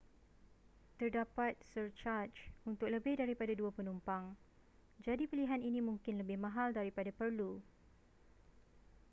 terdapat surcaj untuk lebih daripada 2 penumpang jadi pilihan ini mungkin lebih mahal daripada perlu